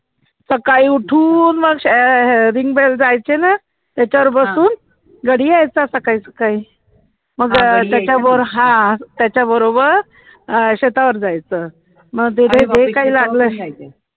सकाळी उठून मग अह भिंग बेल जायचे ना त्याच्यावर बसून घरी यायचं सकाळी सकाळी मग त्याच्या बरो हा त्याच्या बरोबर शेतावर जायचं, मग तिथे जे काही लागलं